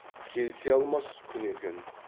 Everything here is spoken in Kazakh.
келісе алмас күн екен